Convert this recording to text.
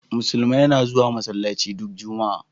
Musulmi na zuwa masallaci du Juma'a.